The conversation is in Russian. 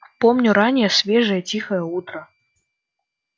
помню раннее свежее тихое утро